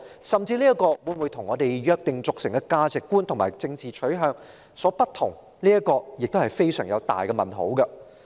有關標準會否與我們約定俗成的價值觀及政治取向有所不同，這存在一個很大的問號。